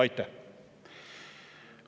Aitäh!